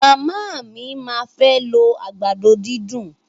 Màmá mí máa fẹ́ lo àgbàdo dídùn.